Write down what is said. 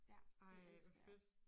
Ja det elskede jeg også